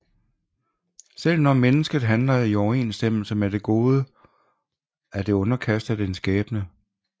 Selv når mennesket handler i overensstemmelse med det gode er det underkastet en skæbne